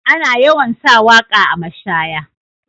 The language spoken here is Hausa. Ana yawan sa waka a mashaya.